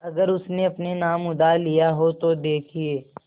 अगर उसने अपने नाम उधार लिखा हो तो देखिए